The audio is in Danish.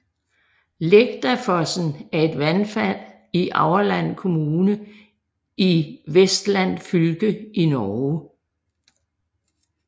Lægdafossen er et vandfald i Aurland kommune i Vestland fylke i Norge